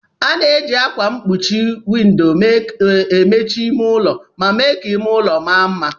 A na-eji ákwà mkpuchi windọ emechi ime ụlọ ma mee ka ime ụlọ ma mma.